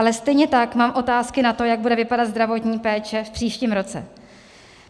Ale stejně tak mám otázky na to, jak bude vypadat zdravotní péče v příštím roce.